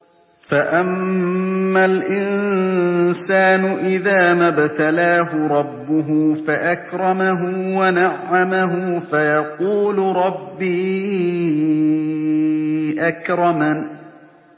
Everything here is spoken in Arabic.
فَأَمَّا الْإِنسَانُ إِذَا مَا ابْتَلَاهُ رَبُّهُ فَأَكْرَمَهُ وَنَعَّمَهُ فَيَقُولُ رَبِّي أَكْرَمَنِ